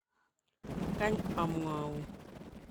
Kany amwoun.